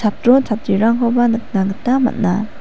chatro chatrirangkoba nikna gita man·a.